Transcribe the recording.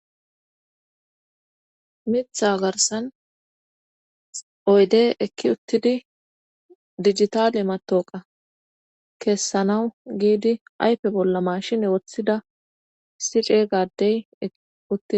Mitha garsan oydey ekki uttidi digitale matooqa keessanawu giidi ayfe bolla mashin woththida sice gadey uttid.